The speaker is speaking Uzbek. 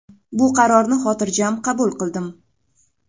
Bu qarorni xotirjam qabul qildim.